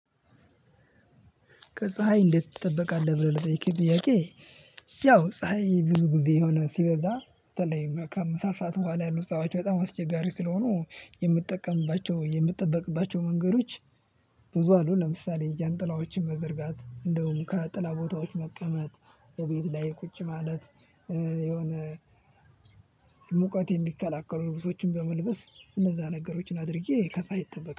ከፀሀይ እንዴት ትጠበቃለህ ብለህ ለጠየከኝ ጥያቄ? ያው ፀሀይ ብዙ ጊዜ የሆነ ሲበዛ በተለይ ከምሳ ሰዓት ቡሃላ ያሉ ፀሐዮች በጣም አስቸጋሪ ስለሆኑ የምጠቀምባቸው የምጠበቅባቸው መንገዶች። ብዙ አሉ ለምሳሌ ጃንጥላዎችን መዘርጋት እንደውም ከጥላ ቦታዎች መቀመጥ በቤት ላይ ቁጭ ማለት የሆነ ሙቀት የሚከላከሉ ልብሶችን በመልበስ እነዛ ነገሮችን አድርጌ ከፀሀይ